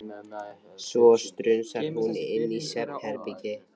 Svo strunsar hún inn í svefnherbergi.